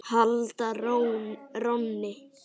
halda rónni.